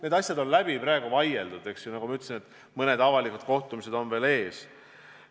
Need asjad on praeguseks läbi vaieldud, nagu ma ütlesin, mõned avalikud kohtumised on veel ees.